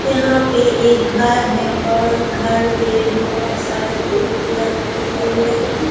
यहाँ पे एक घर है और घर में बहुत सारे खूबसूरत-खूबसूरत --